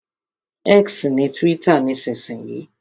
X ni túwítà nísinsìnyí